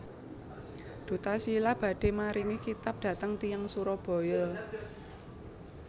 Duta Shila badhe maringi kitab dhateng tiyang Surabaya